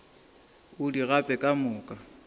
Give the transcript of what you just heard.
o di gape ka moka